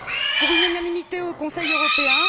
Pour une unanimité au Conseil européen?